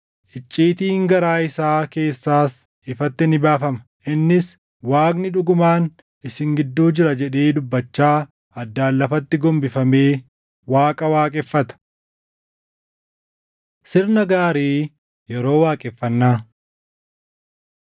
icciitiin garaa isaa keessaas ifatti ni baafama. Innis, “Waaqni dhugumaan isin gidduu jira” jedhee dubbachaa addaan lafatti gombifamee Waaqa waaqeffata. Sirna Gaarii Yeroo Waaqeffannaa